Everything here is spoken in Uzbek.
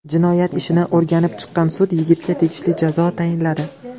Jinoyat ishini o‘rganib chiqqan sud yigitga tegishli jazo tayinladi.